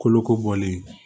Kolo kolen